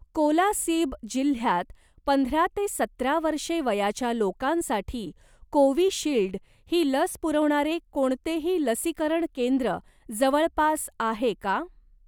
कोलासिब जिल्ह्यात पंधरा ते सतरा वर्षे वयाच्या लोकांसाठी कोविशिल्ड ही लस पुरवणारे कोणतेही लसीकरण केंद्र जवळपास आहे का?